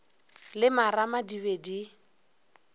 le marama di be di